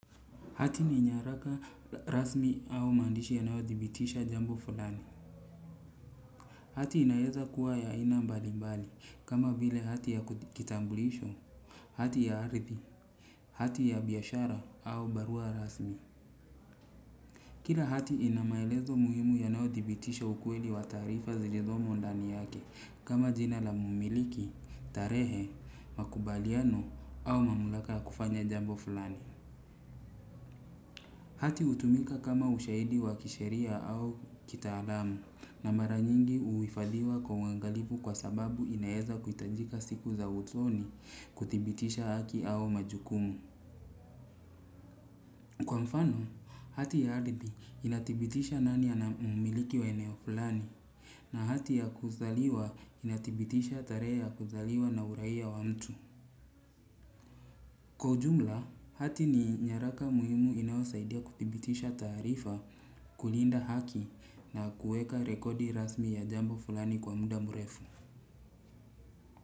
Hati ni nyaraka rasmi au maandishi yanayo dhibitisha jambo fulani hati inaeza kuwa ya aina mbali mbali kama vile hati ya kitambulisho hati ya ardhi hati ya biashara au barua rasmi kila hati inamaelezo muhimu yanayo dhibitisha ukweli wa taarifa zizomo ndani yake kama jina la mmiliki, tarehe, makubaliano au mamlaka kufanya jambo fulani. Hati hutumika kama ushaidi wa kisheria au kitaalam na mara nyingi huhifadhiwa kwa uangalifu kwa sababu inaeza kuhitajika siku za usoni kudhibitisha haki au majukumu. Kwa mfano, hati ya ardhi inadhibitisha nani ana mmiliki wa eneo fulani na hati ya kuzaliwa inadhibitisha tarehe ya kuzaliwa na uraia wa mtu. Kwa ujumla hati ni nyaraka muhimu inayo saidia kudhibitisha taarifa kulinda haki na kiweka rekodi rasmi ya jambo fulani kwa muda mrefu.